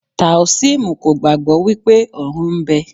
Táósímù kò gbàgbọ́ wípé ọ̀run ń bẹ.